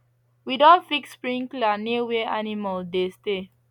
we don fix sprinkler near where animals dey stay